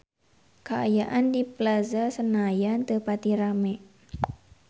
Kaayaan di Plaza Senayan teu pati rame